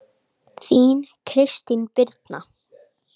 Þín, Kristín Birna.